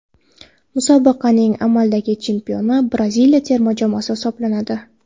Musobaqaning amaldagi chempioni Braziliya terma jamoasi hisoblanadi.